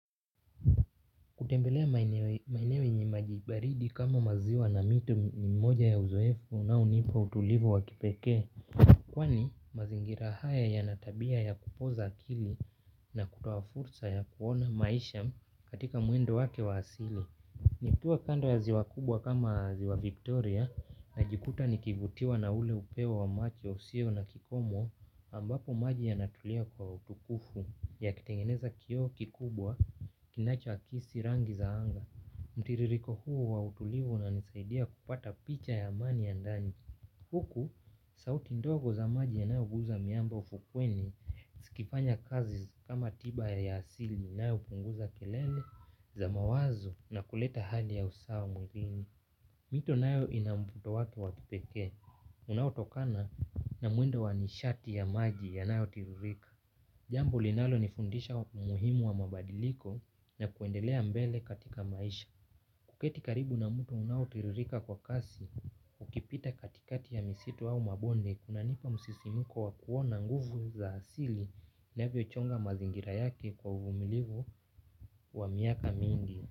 Kutembelea maeneo yenye maji baridi kama maziwa na miti ni mmoja ya uzoefu unaounipa utulivu wa kipekee. Kwani mazingira haya yana tabia ya kupoza akili na kutoa fursa ya kuona maisha katika mwendo wake wa asili. Nikiwa kando ya ziwa kubwa kama ziwa Victoria. Najikuta nikivutiwa na ule upewo wa macho usio na kikomo ambapo maji yanatulia kwa utukufu. Yakitengeneza kioo kikubwa, kinachoakisi rangi za anga. Mtiririko huu wa utulivu na unisaidia kupata picha ya amani ya ndani. Huku, sauti ndogo za maji yanayoguza miamba ufukweni zikifanya kazi kama tiba ya asili nayo hupunguza kelele za mawazo na kuleta hali ya usawa mwilini. Mito nayo ina mvuto wake wa kipekee unaotokana na mwendo wa nishati ya maji yanayotiririka. Jambo linalonifundisha umuhimu wa mabadiliko na kuendelea mbele katika maisha. Kuketi karibu na mto unaotiririka kwa kasi, ukipita katikati ya misitu au mabonde, kunanipa msisimuko wa kuona nguvu za asili inavyochonga mazingira yake kwa uvumilivu wa miaka mingi.